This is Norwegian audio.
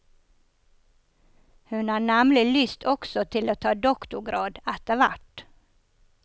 Hun har nemlig lyst også til å ta doktorgrad etterhvert.